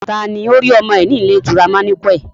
Taa ni ó rí ọmọ rẹ̀ ní ilé ìtura manequal?